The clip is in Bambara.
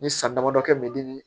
Ni san damadɔ kɛ me di